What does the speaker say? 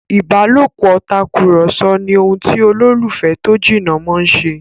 ìbálòpọ̀ Tàkùrọ̀sọ ni ohùn ti ololufẹ tó jìnà món ṣe.